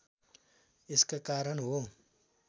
यसका कारण हो